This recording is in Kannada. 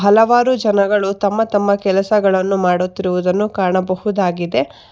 ಹಲವಾರು ಜನಗಳು ತಮ್ಮ ತಮ್ಮ ಕೆಲಸಗಳನ್ನು ಮಾಡುತ್ತಿರುವುದನ್ನು ಕಾಣಬಹುದಾಗಿದೆ.